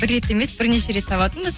бір рет емес бірнеше рет табатынбыз